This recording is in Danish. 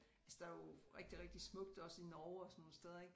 Altså der er jo rigtig rigtig smukt også i Norge og sådan nogle steder ik